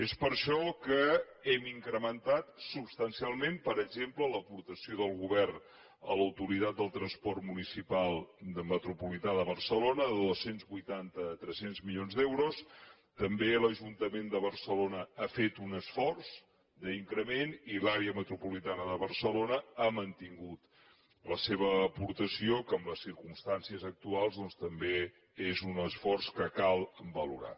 és per això que hem incrementat substancialment per exemple l’aportació del govern a l’autoritat del transport metropolità de barcelona de dos cents i vuitanta a tres cents milions d’euros també l’ajuntament de barcelona ha fet un esforç d’increment i l’àrea metropolitana de barcelona ha mantingut la seva aportació que en les circumstàncies actuals doncs també és un esforç que cal valorar